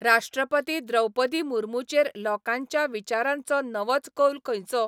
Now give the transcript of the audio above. राष्ट्रपती द्रौपदी मुर्मूचेर लोकांच्या विचारांचो नवोच कौल खंयचो ?